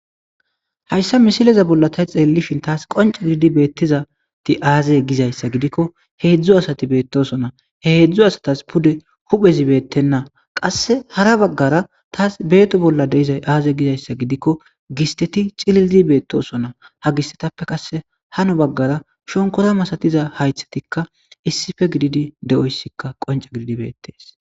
Hayssa misileza bolla tay xeellishin taas qonca gididi beettizati aazey gizayssa gidikko heedzdzu asati beettosona he heedzdzu asatas pude huphezi beettenna qasse hara baggara taas beeto bolla deiza aaze gizayssa gidikko gisteti cililzi beettosona ha gisetappe qasse hano baggara shonkora masatiza haythatikka issife gididi de,oyssikka qonca gididi beettees.